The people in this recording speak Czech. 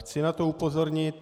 Chci na to upozornit.